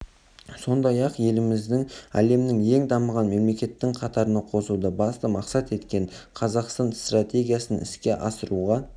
сондай-ақ елімізді әлемнің ең дамыған мемлекетінің қатарына қосуды басты мақсат еткен қазақстан стратегиясын іске асыруға